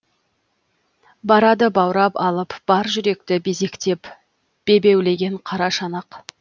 барады баурап алып бар жүректі безектеп бебеулеген қара шанақ